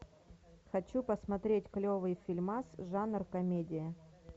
хочу посмотреть клевый фильмас жанр комедия